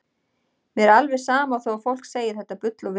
Mér er alveg sama þó að fólk segi þetta bull og vitleysu.